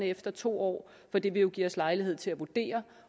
efter to år for det vil jo give os lejlighed til at vurdere